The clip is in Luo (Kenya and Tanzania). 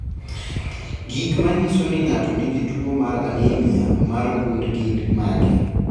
Gik manyiso ni ng'ato nigi tuwo mar anemia mar gund gin mage?